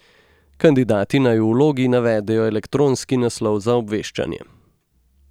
Kandidati naj v vlogi navedejo elektronski naslov za obveščanje.